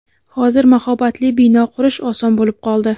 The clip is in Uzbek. Hozir mahobatli bino qurish oson bo‘lib qoldi.